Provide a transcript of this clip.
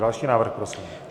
Další návrh prosím.